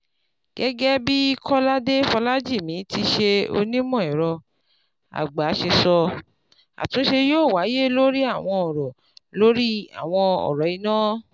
Gẹ́gẹ́ bí Kolade Folajimi tíí ṣe onímọ̀ ẹ̀rọ àgbà ṣe sọ, àtúnṣe yóò wáyé lórí àwọn ọ̀rọ̀ lórí àwọn ọ̀rọ̀ iná